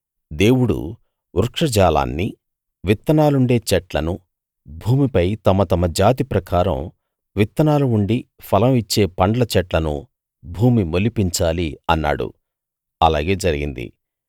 దేవుడు వృక్ష జాలాన్ని విత్తనాలుండే చెట్లను భూమిపై తమ తమ జాతి ప్రకారం విత్తనాలు ఉండి ఫలం ఇచ్చే పండ్ల చెట్లను భూమి మొలిపించాలి అన్నాడు అలాగే జరిగింది